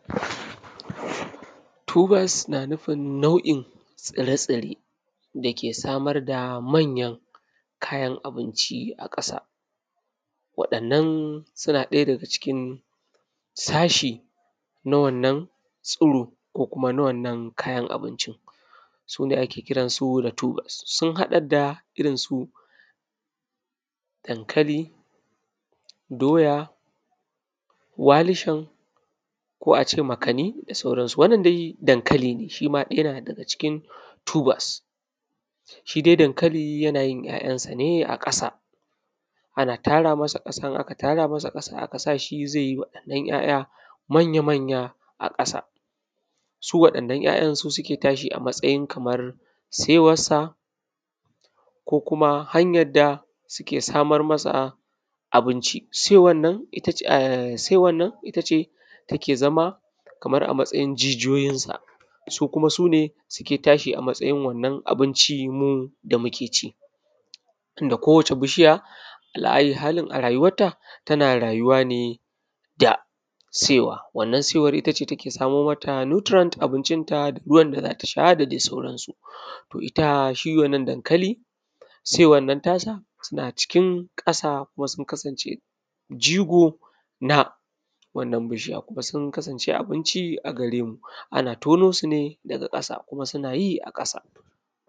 . “tubers” na nufin nau`in tsirai tsirai dake samar da manyan kayan abinci a ƙasa wa`anan suna cikin sashi na wannan tsiro ko kuma na wannan kayan abinci sune ake kiransu da “tubers” sun haɗa da irin su dankali doya walishin ko a ce makanni da saurannsu wannan dai dankali ne shi ma yana ɗaya daga cikin “tubers” shi dai dankali yana yin `ya`yan sa ne a ƙasa ana tara masa ƙasan idan aka tara masa aka sa shi zai yi waɗannan `ya`ya manya manya a ƙasa su waɗannan `ya`yan sune suke tashi a matsayin kamar saiwarsa ko kuma hanyan da suke samar masa abinci saiwan nan itace take zama a matsayin jijiyoyin sa ko kuma sune suke tashi a matsayin wannan abinci da muke ci tunda kowace bishiya alahai halin a rayuwata tana rayuwa ne saiwa wannan saiwar itace take samar mata “nutrient” abincin ta ruwan ta zata sha da dai sauransu to ita shi wannan dankali saiwan ta na cikin ƙasa kuma sun kasance jigo na wannan bishiya kuma sun kasance abinci a garemu ana tono sune daga ƙasa kuma suna yi ne a ƙasa